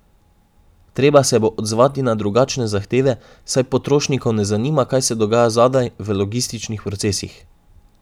Treba se bo odzvati na drugačne zahteve, saj potrošnikov ne zanima, kaj se dogaja zadaj, v logističnih procesih.